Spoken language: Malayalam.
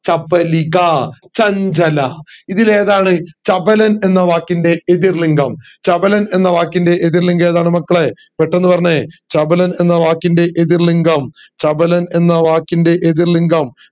ചപലിക ചഞ്ചല ഇതിൽ ഏതാണ് ചപലൻ എന്ന വാക്കിന്റെ എതിർ ലിംഗം ചപലൻ എന്ന വാക്കിന്റെ എതിർ ലിംഗം ഏതാണ് മക്കളെ പെട്ടന്ന് പറഞ്ഞെ ചപലൻ എന്ന വാക്കിന്റെ എതിർ ലിംഗം ചപലൻ എന്ന വാക്കിന്റെ എതിർ ലിംഗം